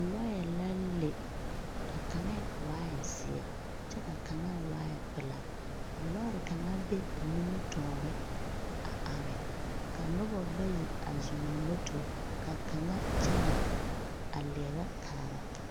Lɔɛ la le. A kaŋa waae zeɛ kyɛ waae pelaa. A lɔɔre kaŋa be a nimitɔɔre a are, ka noba bayi a zɔŋ ba moto ka kaŋa kyɛnɛ a leɛbɛ kaara